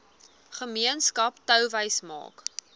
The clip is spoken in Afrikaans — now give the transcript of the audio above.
gemeenskap touwys maak